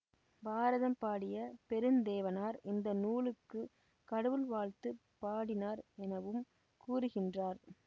பாரதம் பாடிய பெருந்தேவனார் இந்த நூலுக்குக் கடவுள் வாழ்த்துப் பாடினார் எனவும் கூறுகின்றார்